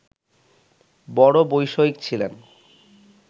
বড়ো বৈষয়িক ছিলেন